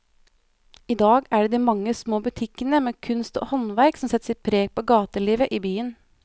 I dag er det de mange små butikkene med kunst og håndverk som setter sitt preg på gatelivet i byen.